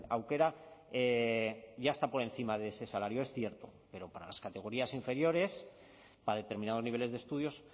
aukera ya está por encima de ese salario es cierto pero para las categorías inferiores para determinados niveles de estudios